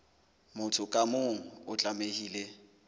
motho ka mong o tlamehile